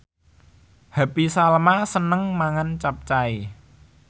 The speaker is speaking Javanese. Happy Salma seneng mangan capcay